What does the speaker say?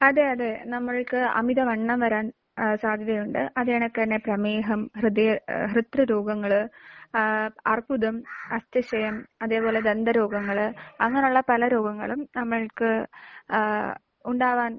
അതെ. അതെ. നമ്മൾക്ക് അമിത വണ്ണം വരാൻ അഹ് സാധ്യതയുണ്ട്. അതേ കണക്ക് തന്നെ പ്രമേഹം, ഹൃദയ ഹൃദ്ര രോഗങ്ങൾ ആഹ് അർബുദം, അസ്ഥിക്ഷയം അതേപോലെ ദന്തരോഗങ്ങൾ അങ്ങനെയുള്ള പല രോഗങ്ങളും നമ്മൾക്ക് ഏഹ് ഉണ്ടാവാൻ